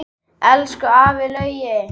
Elsku afi Laugi.